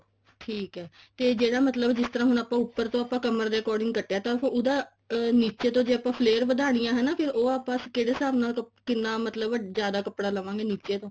ਠੀਕ ਐ ਤੇ ਜਿਹੜਾ ਮਤਲਬ ਜਿਸ ਤਰ੍ਹਾਂ ਆਪਾਂ ਹੁਣ ਉੱਪਰ ਤੋਂ ਆਪਾਂ ਕਮਰ ਦੇ according ਆਪਾਂ ਕੱਟਿਆ ਤਾ ਉਹਦਾ ਨਿੱਚੇ ਤੋਂ ਆਪਾਂ ਜੇ flair ਵਦਾਨੀ ਹੈ ਫੇਰ ਉਹ ਆਪਾਂ ਕਿਹੜੇ ਹਿਸਾਬ ਨਾਲ ਕਿੰਨਾ ਮਤਲਬ ਜਿਆਦਾ ਕੱਪੜਾ ਲਵਾਂਗੇ ਨਿੱਚੇ ਤੋਂ